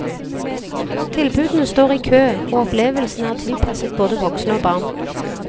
Tilbudene står i kø, og opplevelsene er tilpasset både voksne og barn.